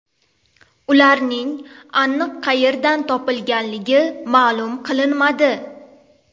Ularning aniq qayerdan topilganligi ma’lum qilinmadi.